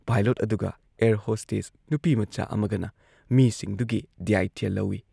pilot ꯑꯗꯨꯒ air hostess ꯅꯨꯄꯤꯃꯆꯥ ꯑꯃꯒꯅ ꯃꯤꯁꯤꯡꯗꯨꯒꯤ ꯗꯥꯢꯇ꯭ꯌ ꯂꯧꯏ